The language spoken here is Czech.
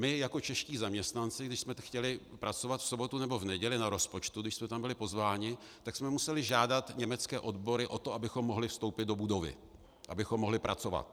My jako čeští zaměstnanci, když jsme chtěli pracovat v sobotu nebo v neděli na rozpočtu, když jsme tam byli pozváni, tak jsme museli žádat německé odbory o to, abychom mohli vstoupit do budovy, abychom mohli pracovat.